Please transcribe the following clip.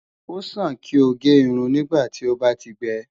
O sàn kí o gé irun nígbàtí ó bá ti gbẹ